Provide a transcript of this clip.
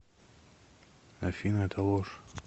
афина это ложь